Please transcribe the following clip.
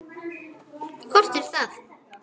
Hvort er það?